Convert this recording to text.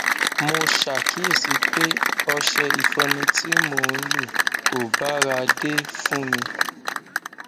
mo ṣàkíyèsí pé ọṣẹ ìfọnu tí mò ń lò kò báradé fún mi